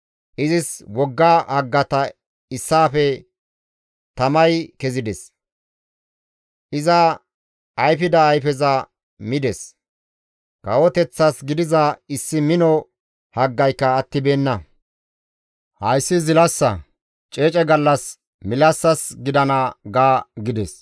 Izis wogga haggata issaafe tamay kezides; iza ayfida ayfeza mides; kawoteththas gidiza issi mino haggayka attibeenna; hayssi zilassa; ceece gallas milassas gidana› ga» gides.